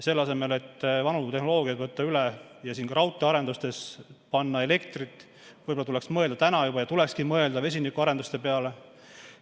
Selle asemel, et vanu tehnoloogiaid üle võtta ja ka raudteearendustesse elektrit panna, võib-olla tulekski mõelda vesinikuarenduste peale.